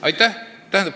Aitäh!